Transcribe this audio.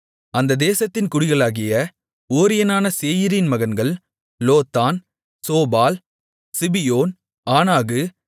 அந்த தேசத்தின் குடிகளாகிய ஓரியனான சேயீரின் மகன்கள் லோத்தான் சோபால் சிபியோன் ஆனாகு